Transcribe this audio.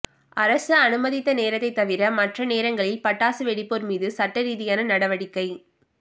அரசு அனுமதித்த நேரத்தைத் தவிர மற்ற நேரங்களில் பட்டாசு வெடிப்போா் மீது சட்டரீதியான நடவடிக்கை